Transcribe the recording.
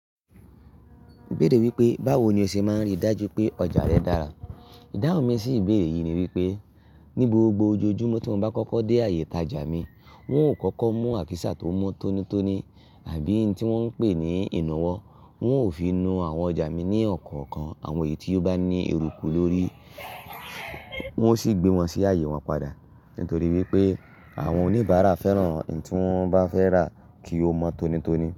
Mo béèrè wípé, báwo ni o ṣe máa ń rí dájú pé ọjà rẹ dára? Ìdáhùn mi sí ìbéèrè yìí ni wípé, ní gbogbo ojojúmọ́ tí mo bá kọ́kọ́ dé ààyè ìtajà mi, wọn ò kọ́kọ́ mú àkísà tó mọ́ tónítóní àbí ń tí wọ́n ń pè ní ìnáwó. Wọn ò fi nu àwọn ọjà mi ní ọ̀kọ̀ọ̀kan. Àwọn èyí tí ó bá ní eruku lórí, wọ́n ó sì gbé wọn sí ààyè wọn padà. Nítorí wípé àwọn oníbàárà fẹ́ràn èyí tí wọ́n bá fẹ́ rà kí ó mọ́ tónítóní.